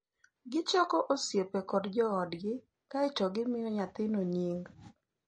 gichoko osiepe kod joodgi kae to gimiyo nyathino nying.